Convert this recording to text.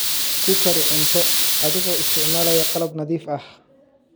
Ku kari cunto adigoo isticmaalaya qalab nadiif ah.